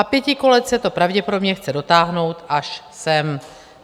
A pětikoalice to pravděpodobně chce dotáhnout až sem.